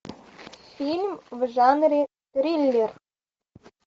фильм в жанре триллер